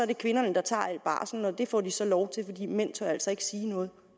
er kvinderne der tager al barslen og det får de så lov til fordi mænd tør altså ikke sige noget